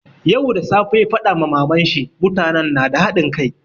Yau da safe ya faɗa ma maman shi, mutanen nada hadin kai.